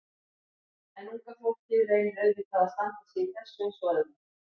En unga fólkið reynir auðvitað að standa sig í þessu eins og öðru.